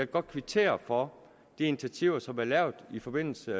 godt kvittere for de initiativer som er lavet i forbindelse